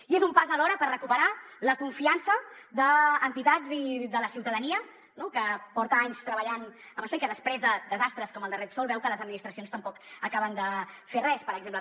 i és un pas alhora per recuperar la confiança d’entitats i de la ciutadania no que porta anys treballant en això i que després de desastres com el de repsol veu que les administracions tampoc acaben de fer res per exemple